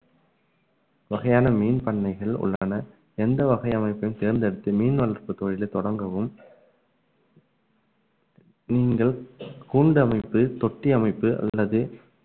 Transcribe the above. வகையான மீன் பண்ணைகள் உள்ளன எந்த வகை அமைப்பையும் தேர்ந்தெடுத்து மீன் வளர்ப்பு தொழிலை தொடங்கவும் நீங்கள் கூண்டு அமைப்பு, தொட்டி அமைப்பு அல்லது